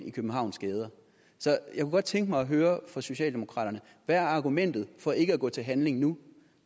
i københavns gader så jeg kunne godt tænke mig at høre fra socialdemokraterne hvad er argumentet for ikke at gå til handling nu